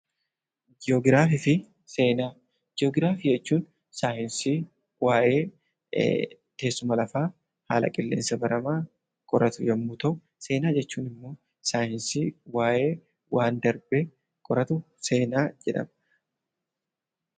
Ji'ogiraafii jechuun saayinsii waa'ee teessuma lafaa, haala qilleensa baramaa qoratu yommuu ta'u, seenaa jechuun immoo saayinsii waa'ee waan darbee qoratu seenaa jedhama.